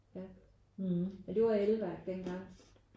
Ja men det var elværk dengang